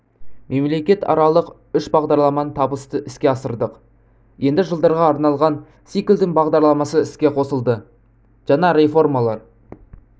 мемлекетаралық үш бағдарламаны табысты іске асырдық енді жылдарға арналған циклдің бағдарламасы іске қосылды жаңа реформалар